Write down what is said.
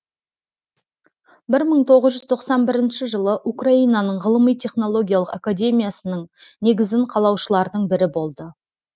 бір мың тоғыз жүз тоқсан бірінші жылы украинаның ғылыми технологиялық академиясының негізін қалаушылардың бірі болды